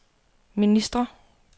ministre